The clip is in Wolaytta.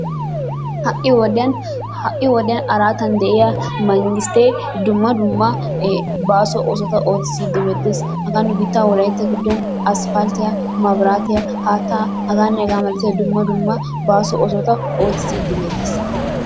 Ha'i wodiyaan ha'i wodiyan araatan de'iyaa manggistee dumma dumma baaso oosota oottiside beettees. hagaa nu biittaa wolaytta giddon aspalttiyaa, mabiraatiyaa, haattaa haganne hagaa malatiyaa dumma dumma baaso oosota oottisside beettees.